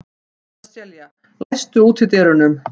Sesselía, læstu útidyrunum.